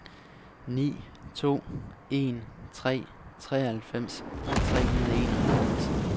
ni to en tre treoghalvfems tre hundrede og enoghalvfems